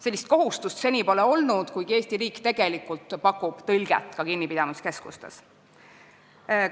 Sellist kohustust pole seni olnud, kuigi Eesti riik tegelikult pakub kinnipidamiskeskustes tõlget.